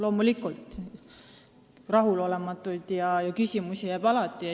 Loomulikult, rahulolematust ja küsimusi jääb alati.